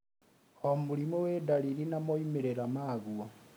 O mũrimũ wĩ dariri na moimĩrĩra maguo